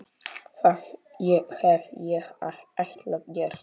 Það hef ég alltaf gert.